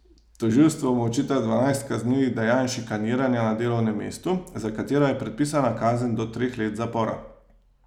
Tožilstvo mu očita dvanajst kaznivih dejanj šikaniranja na delovnem mestu, za katera je predpisana kazen do treh let zapora.